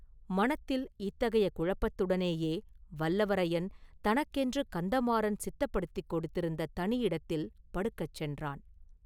மனத்தில் இத்தகைய குழப்பத்துடனேயே வல்லவரையன் தனக்கென்று கந்தமாறன் சித்தப்படுத்திக் கொடுத்திருந்த தனி இடத்தில் படுக்கச் சென்றான்.